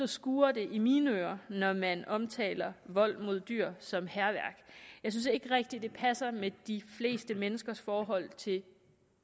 skurrer i mine ører når man omtaler vold mod dyr som hærværk jeg synes ikke rigtig at det passer med de fleste menneskers forhold til